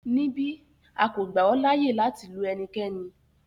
Nibi, a ko gba ọ laaye lati lu ẹnikẹni